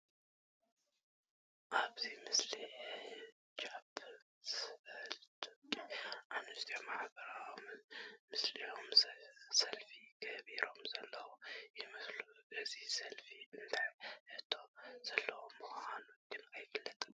ኣብዚ ምስሊ ሕጃብ ዝገበረ ደቂ ኣነስትዮ ማሕበረሰብ ሞስሊም ሰልፊ ይገብራ ዘለዋ ይመስላ፡፡ እዚ ሰልፊ እንታይ ሕቶ ዘለዎ ምዃኑ ግን ኣይፍለጥን፡፡